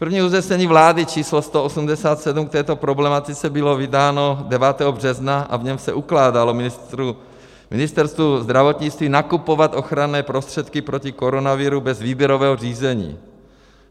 První usnesení vlády číslo 187 k této problematice bylo vydáno 9. března a v něm se ukládalo Ministerstvu zdravotnictví nakupovat ochranné prostředky proti koronaviru bez výběrového řízení.